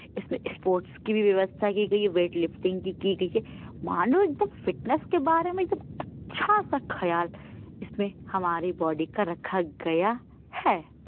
इसमें स्पोर्ट की भी व्यवस्था की गयी है वेट लिफ्टिंग की गयी है मानो एकदम फिटनेश के बारे में एकदम अच्छा सा ख्याल इसमें हमारी बॉडी का रक्खा गया है।